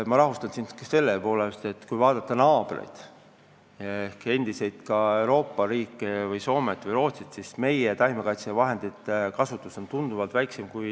Ma rahustan sind: kui vaadata meie naabreid Soomet ja Rootsit, siis näeme, et meie kasutame taimekaitsevahendeid tunduvalt vähem.